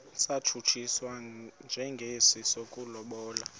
satshutshiswa njengesi sokulobola